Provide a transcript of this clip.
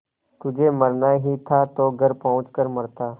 तुझे मरना ही था तो घर पहुँच कर मरता